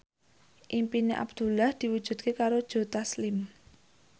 impine Abdullah diwujudke karo Joe Taslim